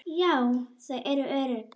Já, þau eru örugg